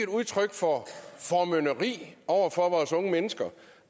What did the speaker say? udtryk for formynderi over for vores unge mennesker